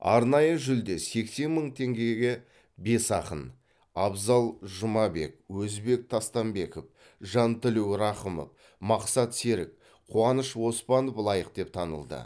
арнайы жүлде сексен мың теңгеге бес ақын абзал жұмабек өзбек тастамбеков жантілеу рақымов мақсат серік қуаныш оспанов лайық деп танылды